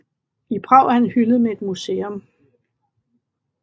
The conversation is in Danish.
I Prag er han hyldet med et museum